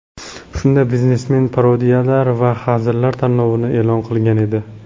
Shunda biznesmen parodiyalar va hazillar tanlovini e’lon qilgan edi.